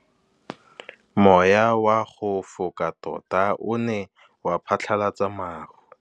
Mowa o wa go foka tota o ne wa phatlalatsa maru.